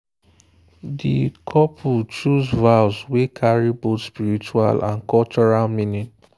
the couple choose vows wey carry both spiritual and cultural meaning.